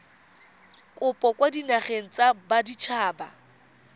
kopo kwa dinageng tsa baditshaba